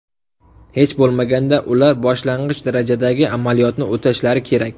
Hech bo‘lmaganda ular boshlang‘ich darajadagi amaliyotni o‘tashlari kerak.